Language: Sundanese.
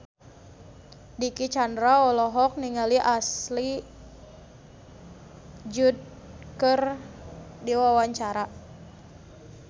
Dicky Chandra olohok ningali Ashley Judd keur diwawancara